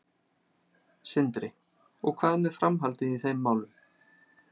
Sindri: Og hvað með framhaldið í þeim málum?